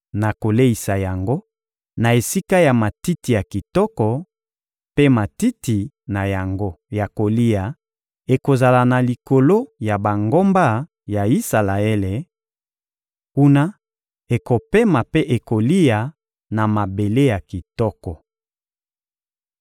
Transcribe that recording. Nakoleisa yango na esika ya matiti ya kitoko, mpe matiti na yango ya kolia ekozala na likolo ya bangomba ya Isalaele; kuna, ekopema mpe ekolia na mabele ya kitoko.